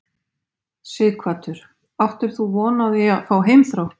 Sighvatur: Áttir þú von á því að fá heimþrá?